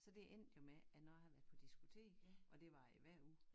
Så det endte jo med at når jeg havde været på diskotek og det var jeg jo hver uge